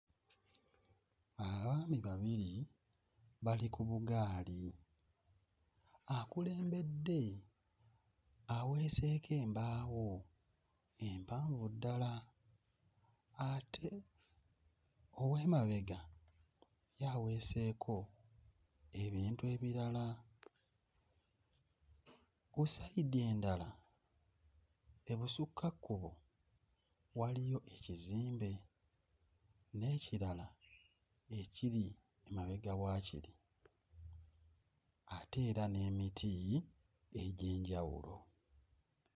Abaami babiri bali ku bugaali. Akulembedde aweeseeko embaawo empanvu ddala ate ow'emabega ye aweeseeko ebintu ebirala. Ku sayidi endala ebusukkakkubo waliyo ekizimbe n'ekirala ekiri emabega wa kiri ate era n'emiti egy'enjawulo.